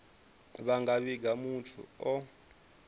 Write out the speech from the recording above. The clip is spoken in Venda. vha nga vhiga muthu o